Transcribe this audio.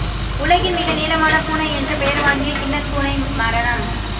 உலகின் மிக நீளமான பூனை என்ற பெயர் வாங்கிய கின்னஸ் பூனை மரணம்